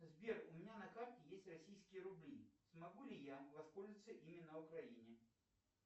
сбер у меня на карте есть российские рубли смогу ли я воспользоваться ими на украине